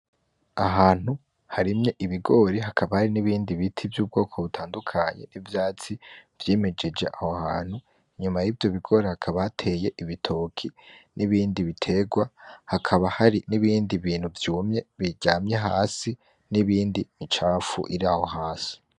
Ahantu harimye ibigori hakaba hari n'ibindi biti vy'ubwoko butandukanye n'ivyatsi vyimejeje aho hantu, inyuma y'ivyo bigori hakaba hateye ibitoki n'ibindi bitegwa, hakaba hari n'ibindi bintu vyumye biryamye hasi, n'ibindi, imicashu ir'aho hasi.